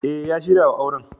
E, ya shirya wa auren.